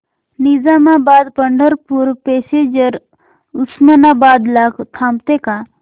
Nizamabad Pandharpur passenger Osmanabad ला थांबते का